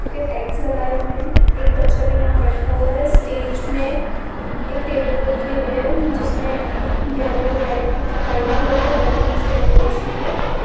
के टैग्स लगाए हुए हैं। एक बच्चा यहां बैठा हुआ है स्टेज मे एक टेबल रखी हुई है जिसमे येलो रेड व्हाइट कलर के बेलूनस के डेकोरैशन किया गया --